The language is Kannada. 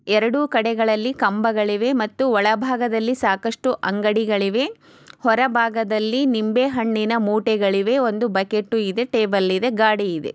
ಎರಡು ಕಡೆಗಳಲ್ಲಿ ಕಂಬಗಳಿವೆ ಮತ್ತು ಒಳಭಾಗದಲ್ಲಿ ಸಾಕಷ್ಟು ಅಂಗಡಿಗಳಿವೆ ಹೊರಬಾಗದಲ್ಲಿ ನಿಂಬೆ ಹಣ್ಣಿನ ಮೂಟೆಗಳಿವೆ ಒಂದು ಬಕೆಟು ಇದೆ ಟೇಬಲ್ ಇದೆ ಗಾಡಿ ಇವೆ.